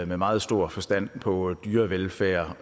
med meget stor forstand på dyrevelfærd